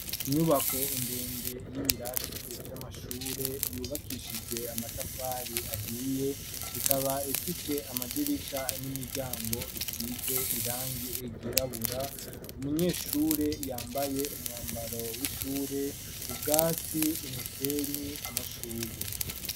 Inyubako ndende y'ibirasi ivy' amashure yubakishijwe amatafari ahiye ikaba ifise amadirisha n'imiryango bisize irangi egirabura umunyeshure yambaye umwambaro w'ishure ubwatsi umusenyi amashurwe.